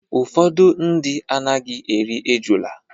Ụfọdụ ndị anaghị eri ejula.